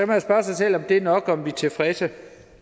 man spørge sig selv om det er nok og om vi er tilfredse